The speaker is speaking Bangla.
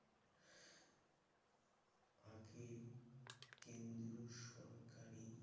ফাঁকে কেন্দ্রীয় সরকারি